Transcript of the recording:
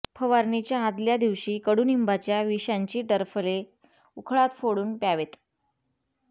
फवारणीच्या आदल्या दिवशी कडूनिंबाच्या विषांची टरफले उखळात फोडून प्यावेत